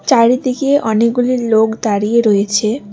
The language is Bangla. চারিদিকে অনেকগুলি লোক দাঁড়িয়ে রয়েছে।